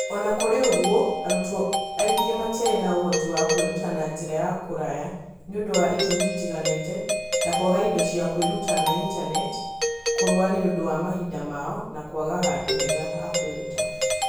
O na kũrĩ ũguo, arutwo aingĩ matiarĩ na ũhoti wa kwĩruta na njĩra ya kũraya nĩ ũndũ wa itũmi itiganĩte, ta kwaga indo cia kwĩruta na ĩntaneti, kũrũa nĩ ũndũ wa mahinda mao, na kwaga handũ hega ha kwĩruta.